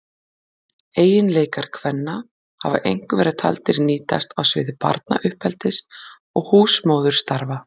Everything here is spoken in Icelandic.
Eiginleikar kvenna hafa einkum verið taldir nýtast á sviði barnauppeldis og húsmóðurstarfa.